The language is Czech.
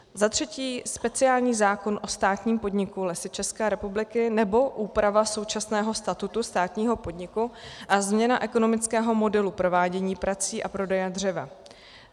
Za třetí speciální zákon o státním podniku Lesy České republiky, nebo úprava současného statutu státního podniku a změna ekonomického modelu provádění prací a prodeje dřeva.